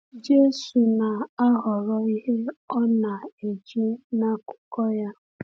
Jésù na-ahọrọ ihe ọ na-eji n’akwụkwọ ya.